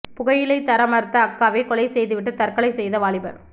புகையிலை தர மறுத்த அக்காவை கொலை செய்துவிட்டு தற்கொலை செய்த வாலிபர்